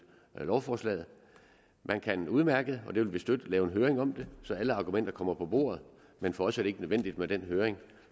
lovforslaget man kan udmærket og det vil vi støtte lave en høring om det så alle argumenter kommer på bordet men for os er det ikke nødvendigt med den høring